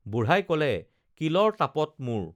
বুঢ়াই কলে কিলৰ তাপত মোৰ